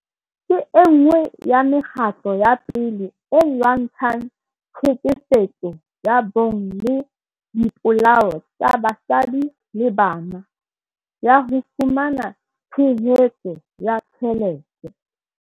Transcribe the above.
ke enngwe ya me kgatlo ya pele e lwantshang tlhekefetso ya bong le dipolao tsa basadi le banana, ya ho fumana tshehetso ya tjhelete.